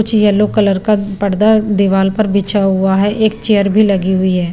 कुछ yellow colour का पर्दा दीवाल पर बिछा हुआ है एक चेयर भी लगी हुई है।